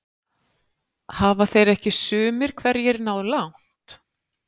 Hafa þeir ekki sumir hverjir náð langt?